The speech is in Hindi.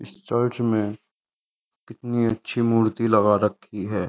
इस चर्च में कितनी अच्छी मूर्ति लगा रखी है।